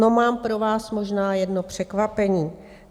No, mám pro vás možná jedno překvapení.